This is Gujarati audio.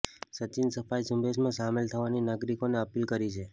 સચીને સફાઈ ઝૂંબેશમાં સામેલ થવાની નાગરિકોને અપીલ કરી છે